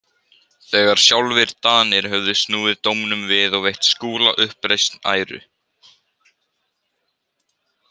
Þegar sjálfir Danir höfðu snúið dómnum við og veitt Skúla uppreisn æru.